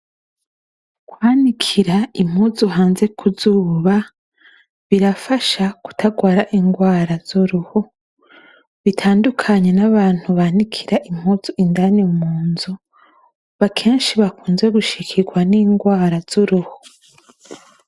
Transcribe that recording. Kwanikira impuzu hanze kuzuba, birafasha kutarwara ingwara bitandukanye zuruhu bitandukanye nabantu banikira akenshi bakunze gushikirwa ningwara zuruhu.